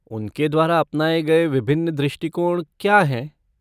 उनके द्वारा अपनाए गए विभिन्न दृष्टिकोण क्या हैं?